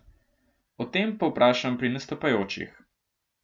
O tem povprašam pri nastopajočih.